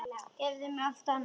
Gefðu allt annað frá þér.